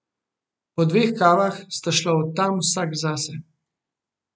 Po dveh kavah sta šla od tam vsak zase.